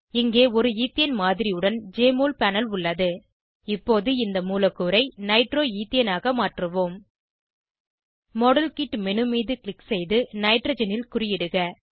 இங்கே ஒரு ஈத்தேன் மாதிரியுடன் ஜெஎம்ஒஎல் பேனல் உள்ளது இப்போது இந்த மூலக்கூறைநைட்ரோ ஈத்தேனாக மாற்றுவோம் மாடல்கிட் மேனு மீது க்ளிக் செய்து நைட்ரஜனில் குறியிடுக